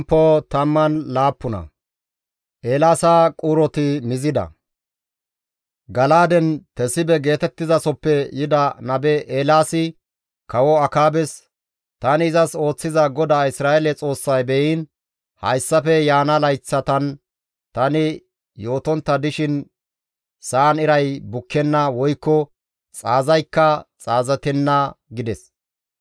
Gala7aaden Tesibe geetettizasoppe yida nabe Eelaasi kawo Akaabes, «Tani izas ooththiza GODAA Isra7eele Xoossay beyiin hayssafe yaana layththatan tani yootontta dishin sa7an iray bukkenna woykko xaazaykka xaazatenna» gides.